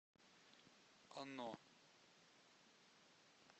оно